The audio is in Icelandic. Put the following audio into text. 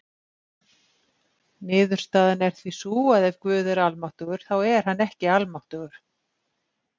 Niðurstaðan er því sú að ef Guð er almáttugur þá er hann ekki almáttugur.